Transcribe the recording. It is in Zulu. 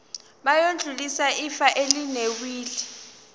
bayodlulisela ifa elinewili